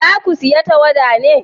za ku saya tawada ne?